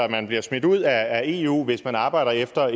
man bliver smidt ud af eu hvis man arbejder efter